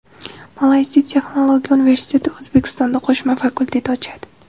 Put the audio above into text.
Malayziya Texnologiya universiteti O‘zbekistonda qo‘shma fakultet ochadi.